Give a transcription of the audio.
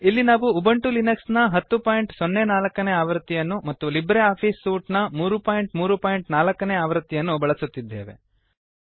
ಇಲ್ಲಿ ನಾವು Ubuntu Linux ನ 1004 ಆವೃತ್ತಿಯನ್ನು ಮತ್ತು ಲಿಬ್ರೆ ಆಫಿಸ್ ಸೂಟ್ ನ 334 ಆವೃತ್ತಿಯನ್ನು ಬಳಸುತ್ತಿದ್ದೇವೆ